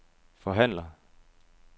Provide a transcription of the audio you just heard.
forhandler